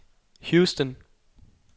Houston